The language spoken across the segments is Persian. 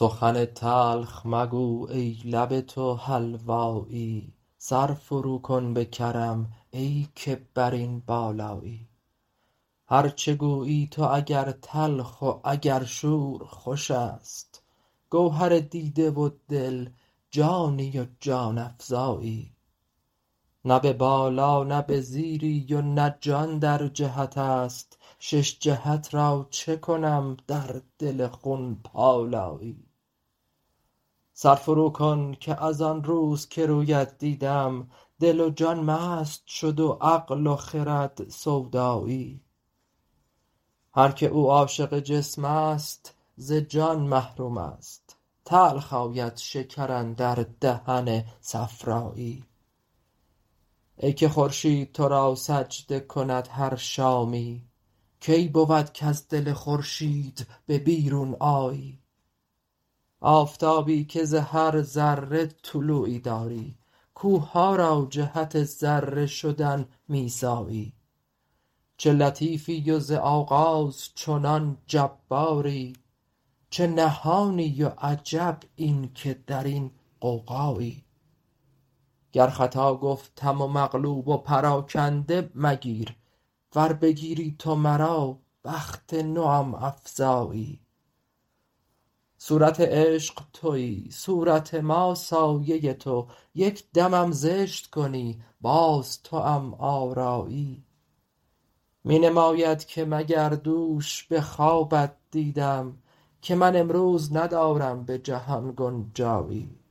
سخن تلخ مگو ای لب تو حلوایی سر فروکن به کرم ای که بر این بالایی هر چه گویی تو اگر تلخ و اگر شور خوش است گوهر دیده و دل جانی و جان افزایی نه به بالا نه به زیری و نه جان در جهت است شش جهت را چه کنم در دل خون پالایی سر فروکن که از آن روز که رویت دیدم دل و جان مست شد و عقل و خرد سودایی هر کی او عاشق جسم است ز جان محروم است تلخ آید شکر اندر دهن صفرایی ای که خورشید تو را سجده کند هر شامی کی بود کز دل خورشید به بیرون آیی آفتابی که ز هر ذره طلوعی داری کوه ها را جهت ذره شدن می سایی چه لطیفی و ز آغاز چنان جباری چه نهانی و عجب این که در این غوغایی گر خطا گفتم و مقلوب و پراکنده مگیر ور بگیری تو مرا بخت نوم افزایی صورت عشق توی صورت ما سایه تو یک دمم زشت کنی باز توام آرایی می نماید که مگر دوش به خوابت دیدم که من امروز ندارم به جهان گنجایی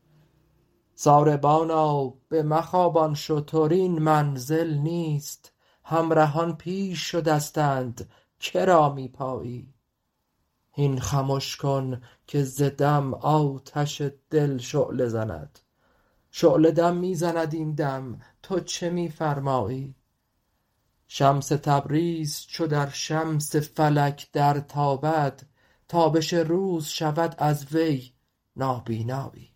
ساربانا بمخوابان شتر این منزل نیست همرهان پیش شدستند که را می پایی هین خمش کن که ز دم آتش دل شعله زند شعله دم می زند این دم تو چه می فرمایی شمس تبریز چو در شمس فلک درتابد تابش روز شود از وی نابینایی